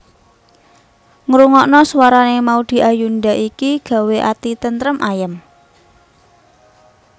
Ngrungokno suarane Maudy Ayunda iki gawe ati tentrem ayem